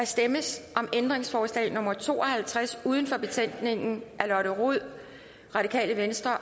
stemmes om ændringsforslag nummer to og halvtreds uden for betænkningen af lotte rod